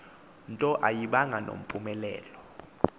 nto ayibanga nampumelelo